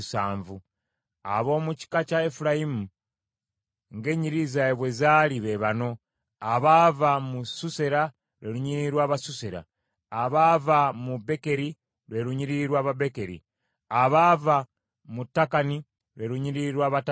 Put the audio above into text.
Ab’omu kika kya Efulayimu ng’ennyiriri zaabwe bwe zaali, be bano: abaava mu Susera, lwe lunyiriri lw’Abasusera; abaava mu Bekeri, lwe lunyiriri lw’Ababekeri; abaava mu Takani, lwe lunyiriri lw’Abatakani.